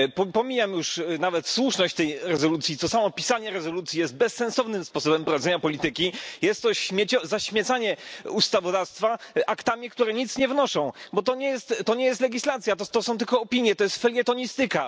Pomijam już nawet słuszność tej rezolucji, bo samo pisanie rezolucji jest bezsensownym sposobem prowadzenia polityki, jest to zaśmiecanie ustawodawstwa aktami, które nic nie wnoszą, bo to nie jest legislacja, to są tylko opinie, to jest felietonistyka.